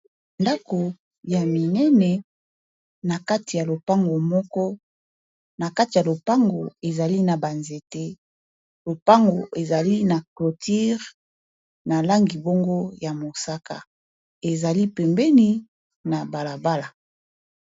ndako ya minene na kati ya lopango moko na kati ya lopango ezali na banzete lopango ezali na clotire na langibongo ya mosaka ezali pembeni na balabala